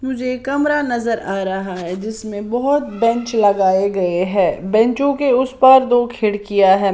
मुझे कमरा नजर आ रहा है जिसमें बहुत बेंच लगाए गए हैं बेंचों के उस पर दो खिड़कियां है।